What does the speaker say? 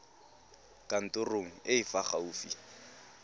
kantorong e e fa gaufi